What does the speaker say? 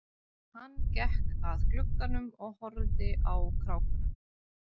Hann gekk að glugganum og horfði á krákuna.